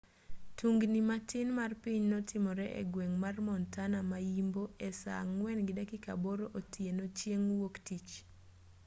tungni matin mar piny notimre egweng' mar montana ma-yimbo e saa 10:08 otieno chieng' wuok tich